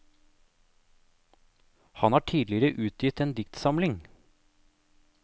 Han har tidligere utgitt en diktsamling.